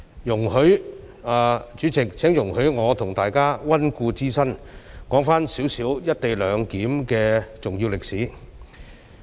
主席，請容許我和大家溫故知新，說一些"一地兩檢"的重要歷史。